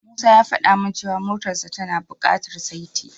Musa ya fada min cewa motarsa tana bukatar saiti.